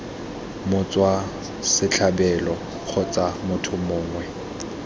motswa setlhabelo kgotsa motho mongwe